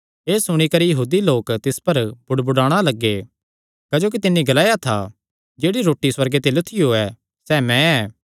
एह़ सुणी करी यहूदी लोक तिस पर बुड़बुड़ाणा लग्गे क्जोकि तिन्नी ग्लाया था जेह्ड़ी रोटी सुअर्गे ते लुत्थियो सैह़ मैं ऐ